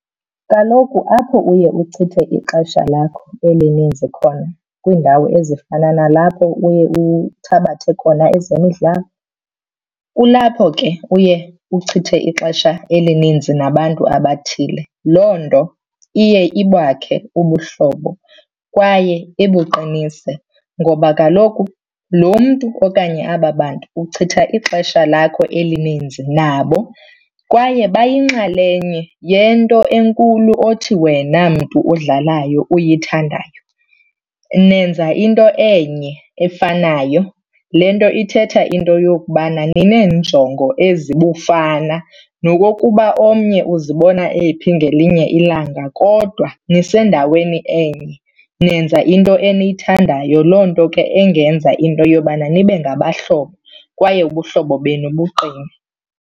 Kaloku apho uye uchithe ixesha lakho elininzi khona kwiindawo ezifana nalapho uye uthabathe khona ezemidlalo, kulapho ke uye uchithe ixesha elininzi nabantu abathile. Loo nto iye ibakhe ubuhlobo kwaye ibuqinise ngoba kaloku loo mntu okanye aba bantu uchitha ixesha lakho elininzi nabo kwaye bayinxalenye yento enkulu othi wena mntu udlalayo uyithandayo. Nenza into enye efanayo, le nto ithetha into yokubana nineenjongo ezibufana nokokuba omnye uzibona ephi ngelinye ilanga. Kodwa nisendaweni enye nenza into eniyithandayo, loo nto ke engenza into yobana nibe ngabahlobo kwaye ubuhlobo benu buqine.